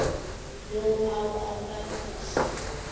Nú á að vanda sig.